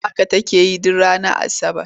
Haka take yi duk ranar Asabar.